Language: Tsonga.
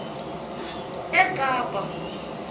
ekapa